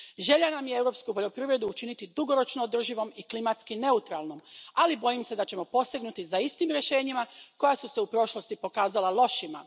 Želja nam je europsku poljoprivredu učiniti dugoročno održivom i klimatski neutralnom, ali bojim se da ćemo posegnuti za istim rješenjima koja su se u prošlosti pokazala lošima.